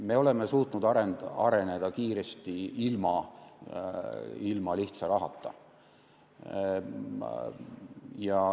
Me oleme suutnud areneda kiiresti ilma lihtsa rahata.